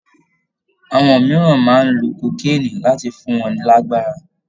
Àwọn mìíràn máa ń lo kókéènì láti fún wọn lágbára